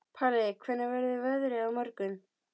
Palli, hvernig verður veðrið á morgun?